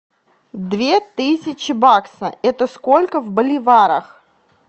две тысячи бакса это сколько в боливарах